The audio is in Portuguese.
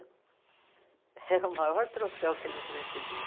Era o maior troféu que eles recebiam.